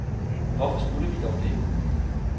Hvorfor skulle vi dog det?